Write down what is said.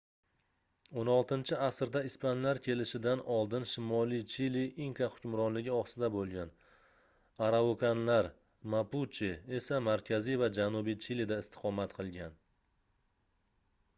16-asrda ispanlar kelishidan oldin shimoliy chili inka hukmronligi ostida bo'lgan araukanlar mapuche esa markaziy va janubiy chilida istiqomat qilgan